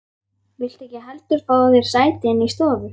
Viltu ekki heldur fá þér sæti inni í stofu?